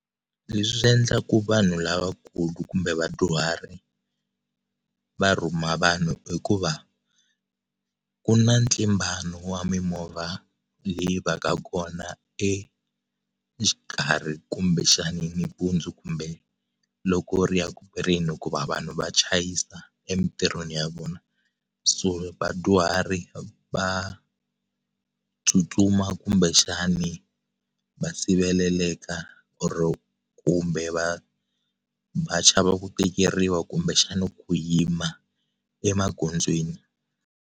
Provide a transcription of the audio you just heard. Leswi endlaka vanhu lavakulu kumbe vadyuhari va rhuma vanhu i ku va ku na ntlimbano wa mimovha leyi va ka kona exikarhi kumbe xana nampundzu kumbe loko ri ya ku peleni hikuva vanhu va chayisa emitirhweni ya vona so vadyuhari va tsutsuma kumbe xana va siveleleka or kumbe va va chava ku tekeriwa kumbe xana ku yima emagondzweni.